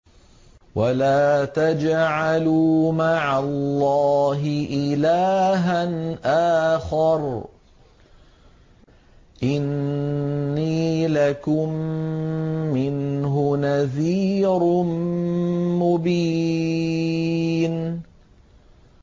وَلَا تَجْعَلُوا مَعَ اللَّهِ إِلَٰهًا آخَرَ ۖ إِنِّي لَكُم مِّنْهُ نَذِيرٌ مُّبِينٌ